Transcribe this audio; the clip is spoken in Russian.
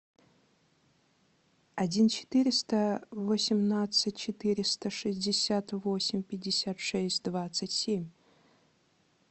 один четыреста восемнадцать четыреста шестьдесят восемь пятьдесят шесть двадцать семь